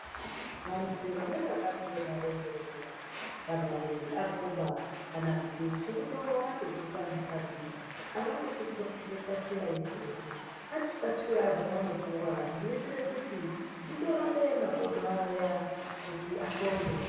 Vantu vanonga vanika marenje zviya kuti agoba kana kuti godo ratoguka mukatimo. Havasisi kutopfeke txatuya yeshe-yeshe pane txatuya dzavanopuva dzinoite kuti dzitorape makodo aya kuti axonde.